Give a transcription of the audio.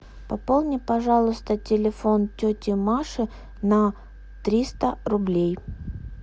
пополни пожалуйста телефон тети маши на триста рублей